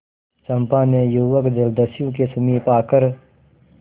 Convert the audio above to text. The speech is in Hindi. चंपा ने युवक जलदस्यु के समीप आकर